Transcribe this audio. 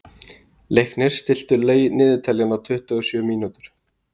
Leiknir, stilltu niðurteljara á tuttugu og sjö mínútur.